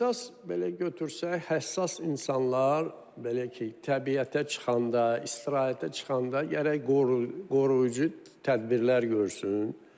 Əsas belə götürsək, həssas insanlar belə ki, təbiətə çıxanda, istirahətə çıxanda gərək qoruyucu tədbirlər görsün.